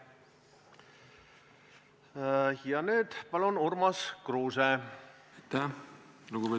Palun, Urmas Kruuse!